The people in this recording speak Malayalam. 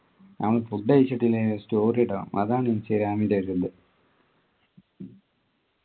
നമ്മ food കഴിച്ചിട്ടില്ലെങ്കിലും story ഇടണം അതാണ് ഇൻസ്റ്റാഗ്രാമിൻ്റെ ഒരിത്